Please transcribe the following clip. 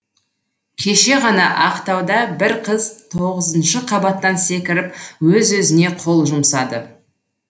кеше ғана ақтауда бір қыз тоғызыншы қабаттан секіріп өз өзіне қол жұмсады